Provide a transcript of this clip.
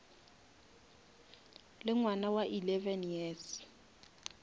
le ngwana wa eleven years